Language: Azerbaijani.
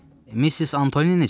Missis Antoni necədir?